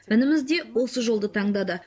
ініміз де осы жолды таңдады